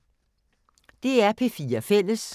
DR P4 Fælles